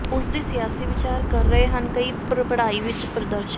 ਉਸ ਦੀ ਸਿਆਸੀ ਵਿਚਾਰ ਕਰ ਰਹੇ ਹਨ ਕਈ ਪੜ੍ਹਾਈ ਵਿੱਚ ਪ੍ਰਦਰਸ਼ਿਤ